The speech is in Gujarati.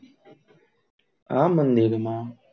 આ મંદિર, માં